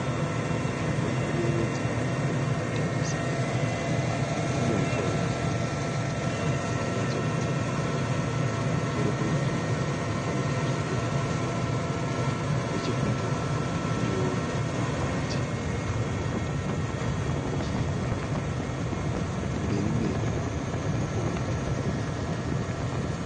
Nzvimbo inoyevedza kutarisa. Ine huswa hwegirini hwakanyatsoenzana. Pamusoro pehuswa pane tutsoko turi kufamba. Nechekumberi kunewo miti yakati wandei ine mashizha egirinhi. Kumberi mberi kurikuoneka makomo.